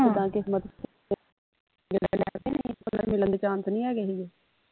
ਮਿਲਣ ਦੇ chance ਨਹੀਂ ਹੈਗੇ ਹੀਗੇ